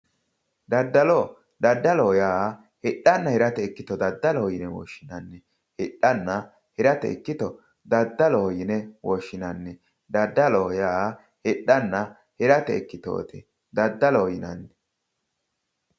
Daddallo, daddalloho yaa hidhanna hirate ikkittoti yinne woshshinanni, hidhanna hirate ikkitto daddalloho yinne woshshinanni ,daddalloho yaa hidhanna hirate ikkittoti daddalloho yinnannihu.